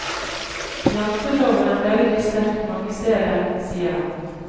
Janteloven er veldig sterk mange steder, sier han.